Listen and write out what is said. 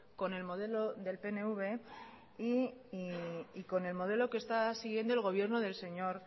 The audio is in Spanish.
con el modelo del pnv y con el modelo que está siguiendo el modelo del señor